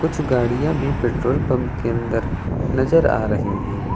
कुछ गाड़ियां भी पेट्रोल पंप के अंदर नजर आ रही है।